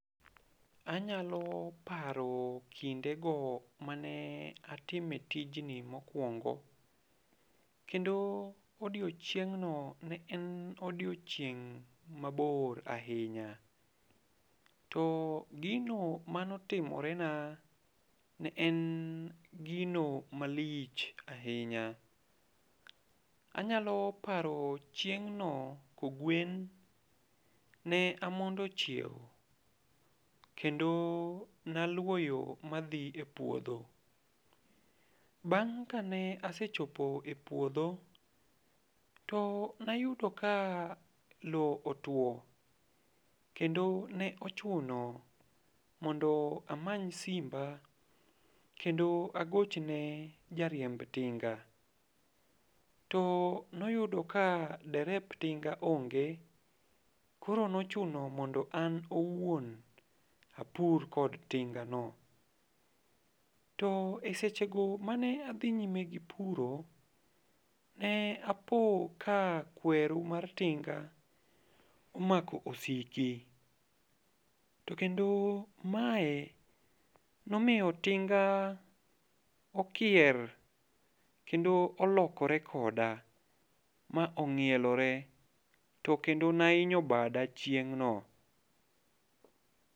Anyalo paro kinde go mane atime tijni mokwongo. Kendo odiechieng'no ne en odiechieng' mabor ahinya. To gino mane otimore na ne en gino malich ahinya. Anyalo paro chieng' no kogwen, ne amondo chiewo, kendo naluwo yo madhi e puodho. Bang' ka ne asechopo e puodho, to ne ayudo ka lowo otwo. Kendo ne ochuno mondo amany simba, kendo agochne ja riemb tinga. To ne oyudo ka derep tinga onge. Koro ne ochuno mondo an owuon apur kod tinga no. To e seche go mane adhi nyime gi puro, ne apo ka kweru mar tinga, omako osiki, to kendo mae nomiyo tinga okier, kendo olokore koda, ma onyielore, to kendo ne ahinyo bada chieng'no.